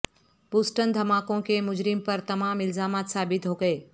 Boston دھماکوں کے مجرم پر تمام الزامات ثابت ہو گئے